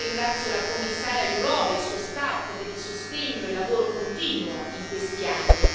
Ringrazio la Commissaria Jourová e il suo staff per il sostegno e il lavoro continuo in questi anni.